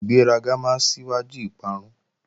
Ìgbéraga máa síwájú ìparun